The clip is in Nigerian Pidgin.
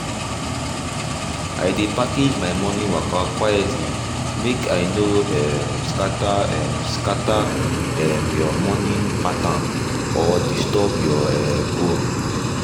i dey package my morning waka quietly make i no um scatter um scatter um your early morning pattern or disturb your um own